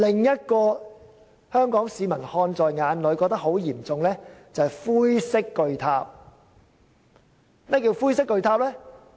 現在，香港市民看在眼裏的是灰色巨塔，同樣問題嚴重。